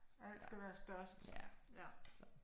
Alt skal være størst, ja